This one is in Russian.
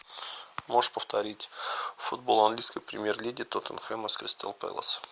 можешь повторить футбол английской премьер лиги тоттенхэма с кристал пэлас